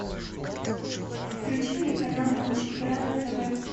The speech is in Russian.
включи мне канал матч игра на тв